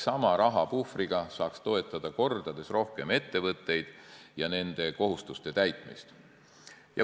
Sama rahapuhvriga saaks toetada mitu korda rohkem ettevõtteid ja nende kohustuste täitmist.